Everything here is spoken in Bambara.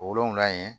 O wolonfila ye